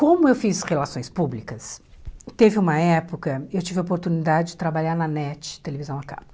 Como eu fiz relações públicas, teve uma época, eu tive a oportunidade de trabalhar na NET, Televisão a Cabo.